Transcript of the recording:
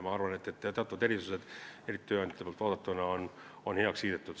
Ma arvan, et teatud erandid on eriti tööandjate poolt vaadatuna heaks kiidetud.